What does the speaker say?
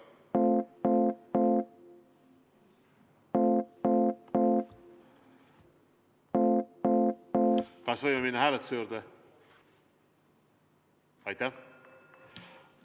Kas võime minna hääletuse juurde?